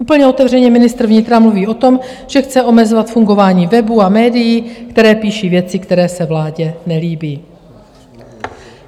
Úplně otevřeně ministr vnitra mluví o tom, že chce omezovat fungování webů a médií, které píší věci, které se vládě nelíbí.